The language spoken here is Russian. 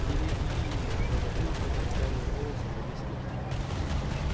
береги завопил кто-то отчаянным голосом на весь лес